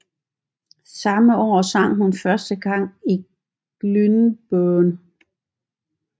Samme år sang hun første gang i Glyndebourne